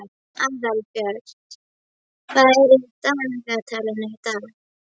Aðalbjört, hvað er í dagatalinu í dag?